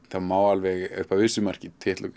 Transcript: þá má alveg upp að vissu marki titla